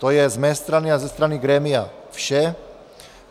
To je z mé strany a ze strany grémia vše.